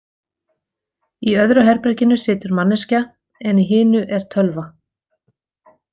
Í öðru herberginu situr manneskja, en í hinu er tölva.